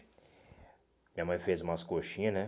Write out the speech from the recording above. Minha mãe fez umas coxinhas, né?